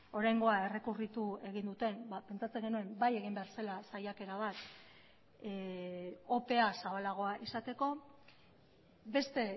oraingoa errekurritu egin duten pentsatzen genuen bai egin behar zela saiakera bat opea zabalagoa izateko beste